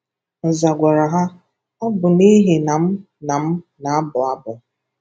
Nza gwara ha, “Ọ bụ n’ihi na m na m na-abụ abụ.”